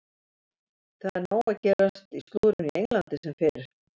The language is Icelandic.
Það er nóg að gerast í slúðrinu á Englandi sem fyrr.